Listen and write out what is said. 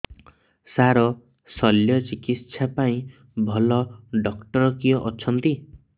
ସାର ଶଲ୍ୟଚିକିତ୍ସା ପାଇଁ ଭଲ ଡକ୍ଟର କିଏ ଅଛନ୍ତି